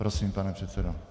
Prosím, pane předsedo.